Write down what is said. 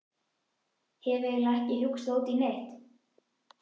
Hef eiginlega ekki hugsað út í neitt.